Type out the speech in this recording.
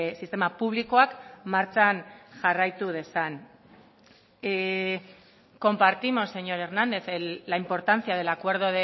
sistema publikoak martxan jarraitu dezan compartimos señor hernández la importancia del acuerdo